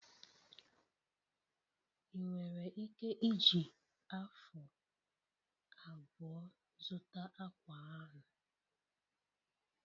Ị nwere ike iji afu abụọ zụta akwa ahụ?